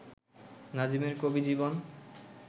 নাজিমের কবি-জীবন